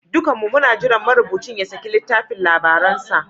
Dukanmu muna jiran marubucin ya saki littafin labaransa.